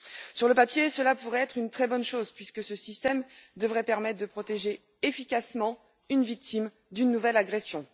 Sur le papier, cela pourrait être une très bonne chose puisque ce système devrait permettre de protéger efficacement une victime d'une nouvelle agression.